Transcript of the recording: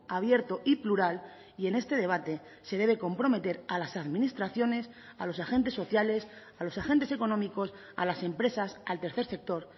abierto y plural y en este debate se debe comprometer a las administraciones a los agentes sociales a los agentes económicos a las empresas al tercer sector